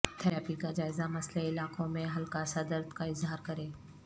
therapy کا جائزہ مسئلہ علاقوں میں ہلکا سا درد کا اظہار کریں